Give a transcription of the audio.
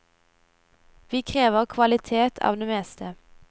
Vi krever kvalitet av det meste.